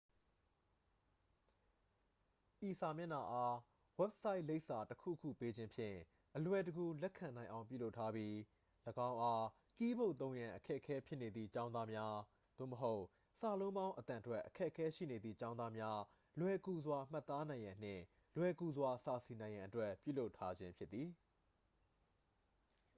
ဤစာမျက်နှာအား ဝက်ဆိုင်လိပ်စာ တစ် ခုခု ပေးခြင်းဖြင့် အလွယ်တကူ လက်ခံနိုင်အောင် ပြုလုပ်ထားပြီး ၎င်းအား ကီးဘုတ်သုံးရန် အခက်အခဲဖြစ်နေသည့် ကျောင်းသားများ သို့မဟုတ် စာလုံးပေါင်းအသံထွက် အခက်ခဲရှိနေသည့် ကျောင်းသားများ လွယ်ကူစွာမှတ်သားနိုင်ရန်နှင့် လွယ်ကူစွာစာစီနိုင်ရန်အတွက် ပြုလုပ်ထားခြင်းဖြစ်သည်